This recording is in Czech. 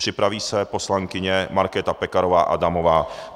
Připraví se poslankyně Markéta Pekarová Adamová.